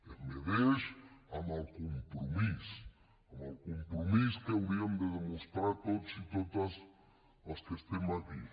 es mesura amb el compromís amb el compromís que hauríem de demostrar tots i totes els que estem aquí